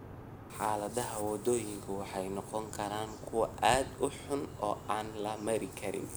Xaaladaha waddooyinku waxay noqon karaan kuwo aad u xun oo aan la mari karin.